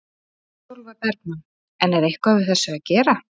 Sólveig Bergmann: En er eitthvað við þessu að gera?